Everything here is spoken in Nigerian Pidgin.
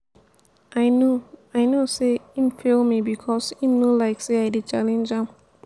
i know i know sey im fail me because im no like as i dey challenge am.